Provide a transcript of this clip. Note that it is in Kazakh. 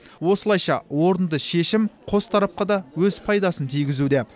осылайша орынды шешім қос тарапқа да өз пайдасын тигізуде